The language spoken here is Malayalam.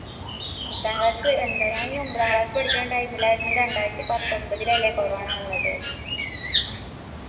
പത്താം class എന്താ ഞാനീ ഒമ്പതാം class ഇൽ പഠിക്കുന്ന time ഇൽ ആയിരുന്നു ഈ രണ്ടായിരത്തി പത്തൊമ്പതിലല്ലേ corona വന്നത്